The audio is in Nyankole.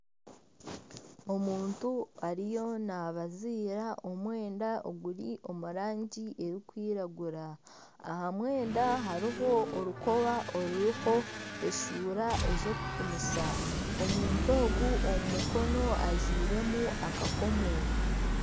Omuntu ariyo nabaziira omwenda oguri omu rangi erikwiragura. Aha mwenda hariho orukoba oruriho eshuura ezokupimisa. omuntu ogu omu Mukono ajwiremu akakomo.